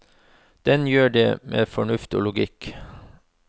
Den gjør det med fornuft og logikk.